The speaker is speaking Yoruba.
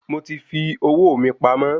Mo ti fi owó mi pamọ́